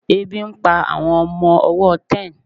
ebi n pa àwọn ọmọ ọwọ ten